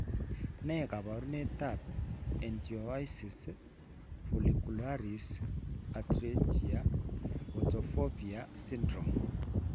Ne kaabarunetap Ichthyosis follicularis atrichia photophobia syndrome?